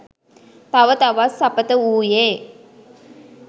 තව තවත් සපථ වූයේ